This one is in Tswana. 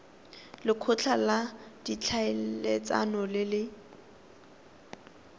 lekgotla la ditlhaeletsano le le